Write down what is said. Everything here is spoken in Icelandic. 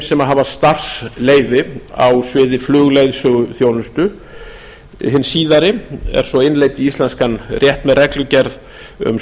þeim hafa starfsleyfi á sviði flugleiðsöguþjónustu hin síðari er svo innleidd í íslenskan rétt með reglugerð um